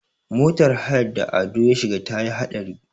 motar hayar da Ado ya shiga ta yi haɗari